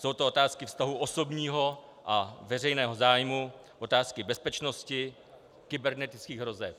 Jsou to otázky vztahu osobního a veřejného zájmu, otázky bezpečnosti, kybernetických hrozeb.